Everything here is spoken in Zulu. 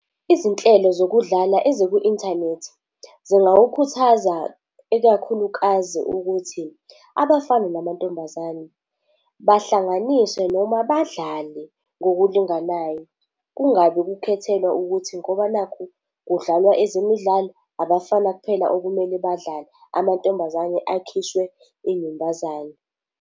Izinhlelo zokudlala eziku-inthanethi zingakukhuthaza ikakhulukazi ukuthi abafana namantombazane bahlanganiswe noma badlale ngokulinganayo, kungabi ukukhethelwe ukuthi ngoba nakhu kudlalwa ezemidlalo, abafana kuphela okumele badlale amantombazane akhishwe iy'nyumbazane.